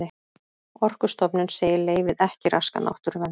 Orkustofnun segir leyfið ekki raska náttúruvernd